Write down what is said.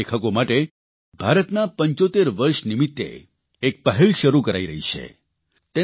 યુવા લેખકો માટે ભારતના 75 વર્ષ નિમિત્તે એક પહેલ શરૂ કરાઇ રહી છે